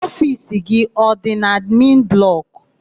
Ofiisi gị adị n'admin blọkụ?